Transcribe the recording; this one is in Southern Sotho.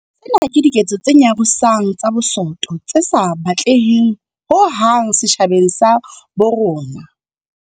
Tsena ke diketso tse nyarosang tsa bosoto tse sa batleheng ho hang setjhabeng sa habo rona.